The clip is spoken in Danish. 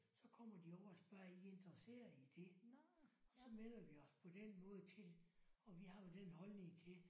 Så kommer de over og spørger er I interesseret i det? Og så melder vi også på den måde til og vi har jo den holdning til